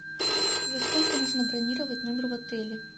за сколько нужно бронировать номер в отеле